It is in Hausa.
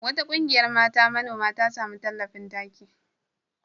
Wata ƙungiyar mata manoma ta sami tallafin taki.